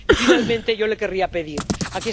Y, finalmente, yo le querría pedir algo.